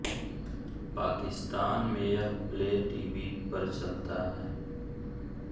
पाकिस्तान में यह play TV पर चलता है